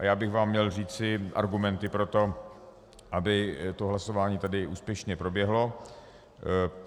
A já bych vám měl říci argumenty pro to, aby to hlasování tady úspěšně proběhlo.